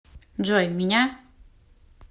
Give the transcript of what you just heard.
джой меня